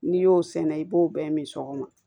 N'i y'o sɛnɛ i b'o bɛɛ min sogo